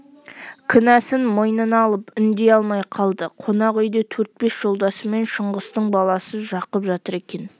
кінәсін мойнына алып үндей алмай қалды қонақ үйде төрт-бес жолдасымен шыңғыстың баласы жақып жатыр екен